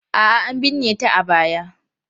A'a, an binne ta a baya.